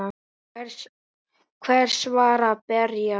Hver var að berja?